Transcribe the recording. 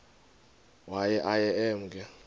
waye aye emke